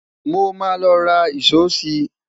mọ má ló rà ìsọ si